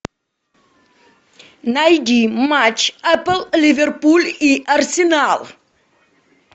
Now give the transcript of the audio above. найди матч апл ливерпуль и арсенал